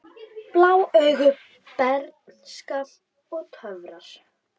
Blá augu, bernska og töfrar